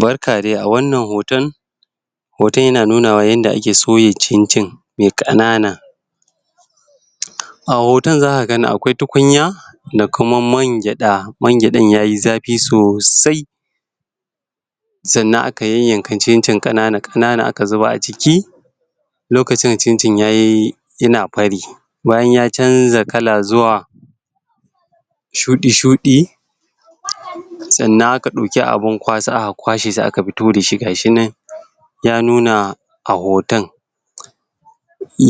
Barka dai! A wannan hoton hoton ya nunawa yanda ake soya cincin mai ƙanana. A hoton za ka ga akwai tukunya da kuma man gyaɗa, man gyaɗan yayi zafi sosai. Sannan aka yan-yanka cincin ƙanana aka zuba a ciki lokacin cincin yayi ya na fari. Bayan ya canza kala zuwa shuɗi-shuɗi sannan aka ɗauki abun kwasa aka kwashe shi aka fito da shi ga shi nan ya nuna a hoton.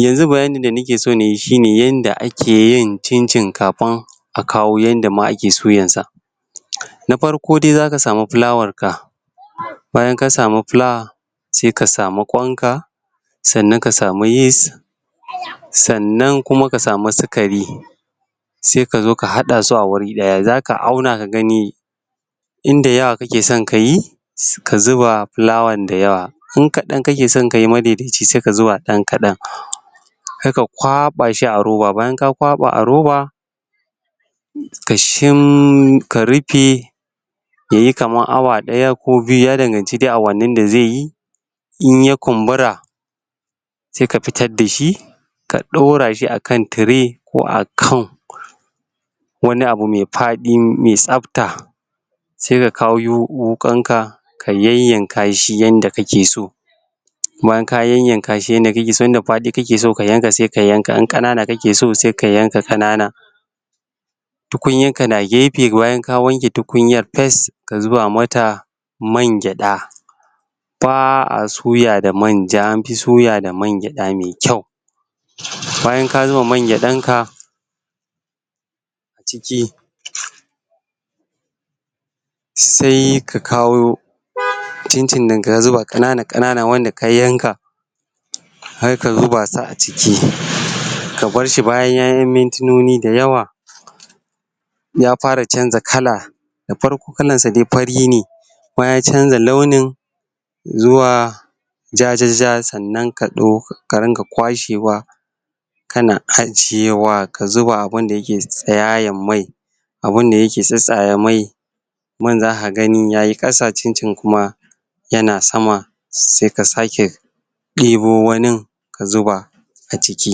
Yanzu bayanin da nike so nayi shi ne yanda ake yin cincin kafin a kawo yanda ma ake suyan sa. Na farko dai za ka samu fulawar ka. Bayan ka samu fulawa, sai ka samu ƙwanka sannan ka samu yis sannan kuma ka samu sikari sai ka zo ka haɗa su a wuri ɗaya, za ka auna ka gani inda yawa kake son kayi ka zuba fulawan da yawa. In kaɗan kake son kayi madai-daicin sai ka zuba ɗan kaɗan. Sai ka kwaɓa shi a roba. Bayan ka kwaɓa a roba ka shim, ka rufe yayi kaman awa ɗaya ko biyu, ya danganci dai awannin da zai yi. In ya kumbura sai ka fitar da shi, ka ɗora shi akan tire ko akan wani abu mai faɗi mai tsafta. Sai ka kawo yu wuƙan ka, ka yayyanka shi yanda kake so. Bayan ka yayyanka yanda kake so, inda faɗi kake so sai ka yanka, in ƙanana kake so sai ka yanka ƙanana. Tukunya ka na gefe bayan ka wanke tukunyar fes. Ka zuba ma ta man gyaɗa, ba'a suya da manja, anfi suya da man gyaɗa mai kyau. Bayan ka zuba man gyaɗan ka ciki sai ka kawo cincin ɗin ka zuba ƙanana-ƙanana wanda ka yanka, har ka zuba shi a ciki, ka bar shi bayan mintinoni da yawa, ya fara canja kala. Da farko kalan shi dai fari ne, bayan ya canza launin zuwa jaja sannan ka ɗo ka rinƙa kwashewa, ka na ajiyewa, ka zuba abunda yake tsiyayan mai. Abunda yake tsattsaye mai, man za ka gani yayi ƙasa, cincin kuma ya na sama, sai ka sake ɗibo wanin ka zuba a ciki.